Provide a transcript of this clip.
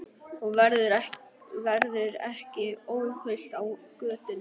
Þú verður ekki óhult á götunum.